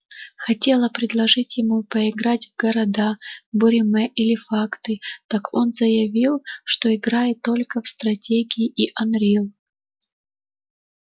хотела предложить ему поиграть в города буриме или факты так он заявил что играет только в стратегии и анрил